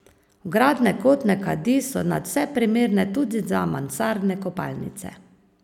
Vgradne kotne kadi so nadvse primerne tudi za mansardne kopalnice.